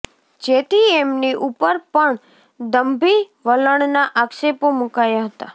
જેથી એમની ઉપર પણ દંભી વલણના આક્ષેપો મુકાયા હતા